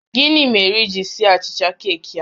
Gịnị mere i ji sie achicha keeki a?